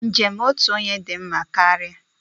Njem otu onye dị mma karịa.